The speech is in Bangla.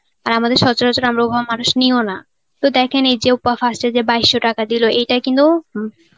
আর আমাদের সচরাচর আমরা ওভাবে মানুষ নিও না দেখেন এই যে first এ যে বাইশশো টাকা দিলো এটা কিন্তু